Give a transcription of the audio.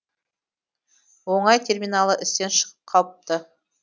оңай терминалы істен шығып қалыпты